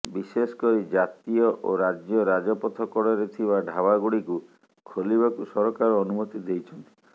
ବିଶେଷ କରି ଜାତୀୟ ଓ ରାଜ୍ୟ ରାଜପଥ କଡ଼ରେ ଥିବା ଢ଼ାବାଗୁଡ଼ିକୁ ଖୋଲିବାକୁ ସରକାର ଅନୁମତି ଦେଇଛନ୍ତି